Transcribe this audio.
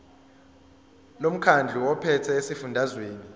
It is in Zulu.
lomkhandlu ophethe esifundazweni